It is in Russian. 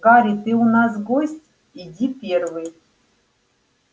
гарри ты у нас гость иди первый